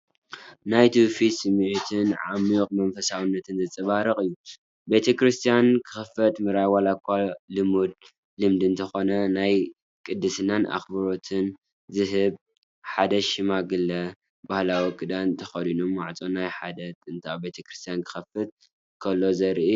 ናይ ትውፊት ስምዒትን ዓሚቝ መንፈሳውነትን ዘንጸባርቕ እዩ። ቤተ ክርስቲያን ክኸፍት ምርኣይ፡ ዋላ’ኳ ልሙድ ልምዲ እንተኾነ፡ ናይ ቅድስናን ኣኽብሮትን ዝህብ፣ ሓደ ሽማግለ ባህላዊ ክዳን ተኸዲኑ ማዕጾ ናይ ሓደ ጥንታዊ ቤተ ክርስቲያን ክኸፍት ክፍትን ከሎ ዘርኢ እዩ።